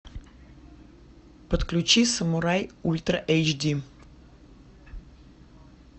подключи самурай ультра эйч ди